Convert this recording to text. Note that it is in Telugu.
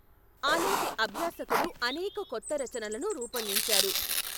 ఆనాటి అభ్యాసకులు అనేక కొత్త రచనలను రూపొందించారు.